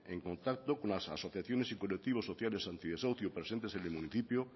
en contacto con las asociaciones y colectivos sociales anti desahucio presentes en el municipio